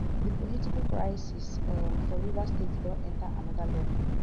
di political crisis um for rivers state don enta anoda level